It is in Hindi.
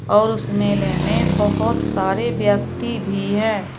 और उस मेले में बहुत सारे व्यक्ति भी है।